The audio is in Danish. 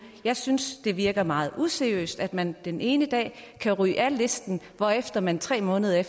jeg synes det virker meget useriøst at man den ene dag kan ryge af listen hvorefter man tre måneder